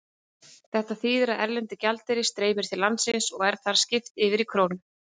Þetta þýðir að erlendur gjaldeyrir streymir til landsins og er þar skipt yfir í krónur.